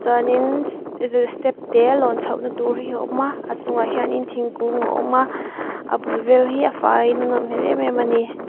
chuan in zi step te lawn chho na tur hi a awm a a chunga hian thingkung a awm a a bul vel hi a fai in a nawm hmel em em a ni.